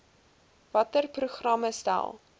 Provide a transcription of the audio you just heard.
watter programme stel